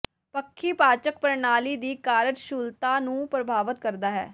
ਪੱਖੀ ਪਾਚਕ ਪ੍ਰਣਾਲੀ ਦੀ ਕਾਰਜਕੁਸ਼ਲਤਾ ਨੂੰ ਪ੍ਰਭਾਵਤ ਕਰਦਾ ਹੈ